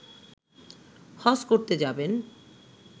হজ করতে যাবেন